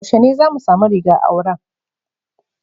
Yaushe ne zamu samu rigar auran?